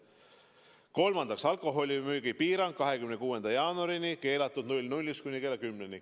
Kolmandaks, alkoholimüügi piirang 26. jaanuarini: müük on keelatud kella 00-st kuni kella 10-ni.